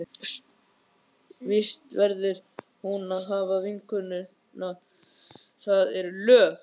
Vist verður hún að hafa, vinnukonan, það eru lög.